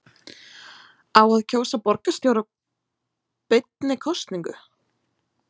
Á að kjósa borgarstjóra beinni kosningu?